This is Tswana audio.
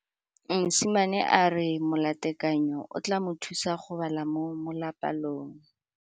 Mosimane a re molatekanyô o tla mo thusa go bala mo molapalong.